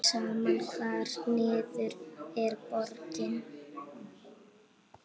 Sama hvar niður er borið.